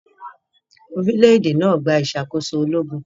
Orílẹ̀-èdè náà gba ìṣàkóso ológun.